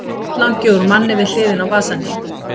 Botnlangi úr manni við hliðina á vasahníf.